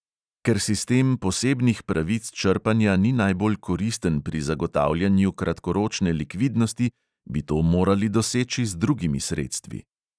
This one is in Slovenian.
Ker sistem posebnih pravic črpanja ni najbolj koristen pri zagotavljanju kratkoročne likvidnosti, bi to morali doseči z drugimi sredstvi.